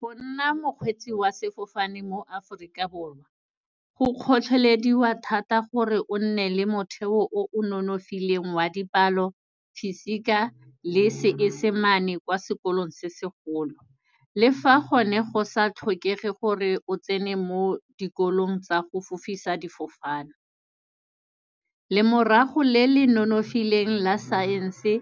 Go nna mokgwetsi wa sefofane mo Afrika Borwa, go kgotlhelediwa thata gore o nne le motheo o o nonofileng wa dipalo, physique-a le seesemane kwa sekolong se segolo. Le fa gone go sa tlhokege gore o tsene mo dikolong tsa go fofisa difofane. Lemorago le le nonofileng la science-e